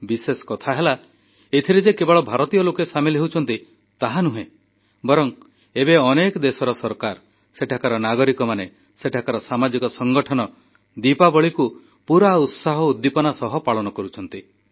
ବିଶେଷ କଥା ହେଲା ଏଥିରେ ଯେ କେବଳ ଭାରତୀୟ ଲୋକେ ସାମିଲ ହେଉଛନ୍ତି ତାହା ନୁହେଁ ବରଂ ଏବେ ଅନେକ ଦେଶର ସରକାର ସେଠାକାର ନାଗରିକମାନେ ସେଠାକାର ସାମାଜିକ ସଂଗଠନ ଦୀପାବଳିକୁ ପୂରା ଉତ୍ସାହ ଉଦ୍ଦୀପନା ସହ ପାଳନ କରୁଛନ୍ତି